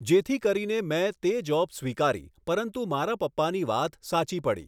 જેથી કરીને મેં તે જોબ સ્વીકારી પરંતુ મારા પપ્પાની વાત સાચી પડી